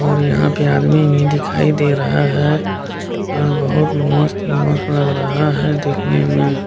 और यहाँ पे आदमी भी दिखाई दे रहा है और बहुत मस्त इमेज लग रहा है देखने में --